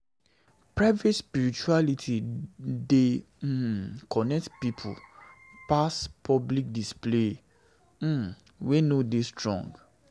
Private spirituality dey um connect pipo deep pass public display um wey no dey strong.